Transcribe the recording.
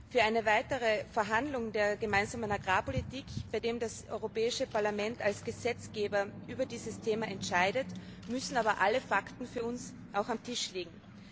Für weitere Verhandlungen über die gemeinsame Agrarpolitik, bei denen das Europäische Parlament als Gesetzgeber über dieses Thema entscheidet, müssen alle Fakten für uns auf dem Tisch liegen.